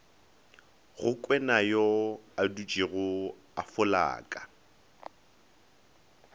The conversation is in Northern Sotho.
go kwenayo adutšego a folaka